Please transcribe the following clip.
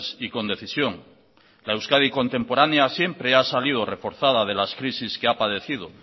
y con decisión la euskadi contemporánea siempre ha salido reforzada de las crisis que ha padecido